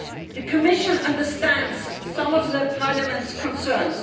The Commission understands some of Parliament's concerns.